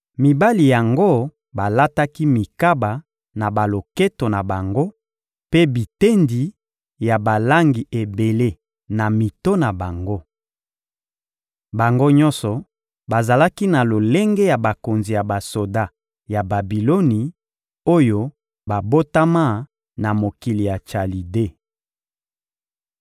mibali yango balataki mikaba na baloketo na bango mpe bitendi ya balangi ebele na mito na bango. Bango nyonso bazalaki na lolenge ya bakonzi ya basoda ya Babiloni, oyo babotama na mokili na Chalide.